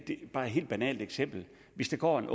bare et helt banalt eksempel hvis der går en